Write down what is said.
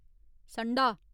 संडा